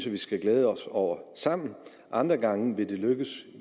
vi skal glæde os over sammen andre gange vil det lykkes